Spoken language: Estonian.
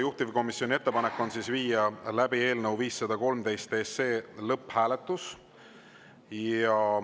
Juhtivkomisjoni ettepanek on viia läbi eelnõu 513 lõpphääletus.